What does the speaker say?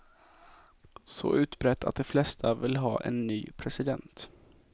Så utbrett att de flesta vill ha en ny president.